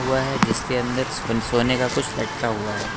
हुआ है जिसके अंदर सोने का कुछ लटका हुआ है।